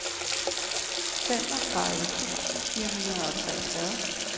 femogtredive tusind fire hundrede og treogfyrre